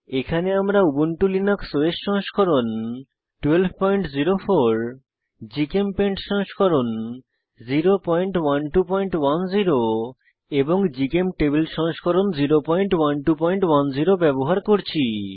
এখানে আমরা Ubuntu Linux OS সংস্করণ 1204 জিচেমপেইন্ট সংস্করণ 01210 এবং জিচেমটেবল সংস্করণ 01210 ব্যবহার করছি